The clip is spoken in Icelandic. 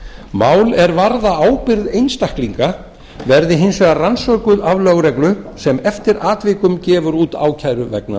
mál er varða ábyrgð einstaklinga verði hins vegar rannsökuð af lögreglu sem eftir atvikum gefur út ákæru vegna